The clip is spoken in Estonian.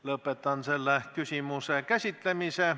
Lõpetan selle küsimuse käsitlemise.